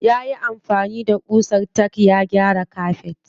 Yayi amfani da ƙusar tack ya gyara kafet.